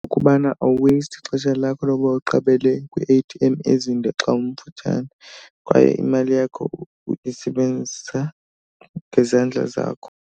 Kubana awuweyisiti ixesha lakho lokuba uqabele kwi-A_T_M ezinde xa emfutshane kwaye imali yakho uyisebenzisa ngezandla zakho.